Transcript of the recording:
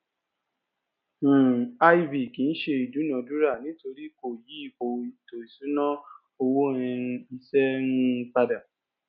um iv kìí se ìdúnadúrà nítorí kò yí ipò ètò ìṣúná owó um iṣẹ um pada